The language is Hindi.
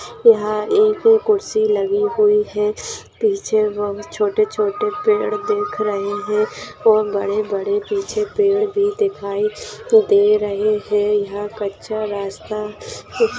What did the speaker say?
यहाँ एक कुर्सी लगी हुई है। पीछे वो छोटे छोटे पेड़ दिख रहे है और बड़े बड़े पीछे पेड़ भी दिखाई दे रहे है। यहाँ कच्चा रास्ता